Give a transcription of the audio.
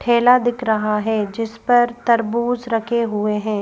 ठेला दिख रहा है जिस पर तरबूज रखे हुए हैं।